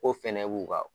Ko fɛnɛ b'u ka